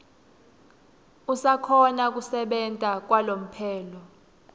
usakhona kusebenta kwalomphelo